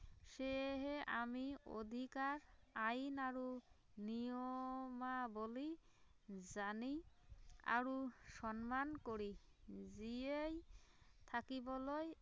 সেয়েহে আমি অধিকাৰ, আইন আৰু নিয়মাৱলী জানি আৰু সন্মান কৰি জীয়াই থাকিবলৈ